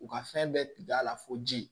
U ka fɛn bɛɛ da la fo ji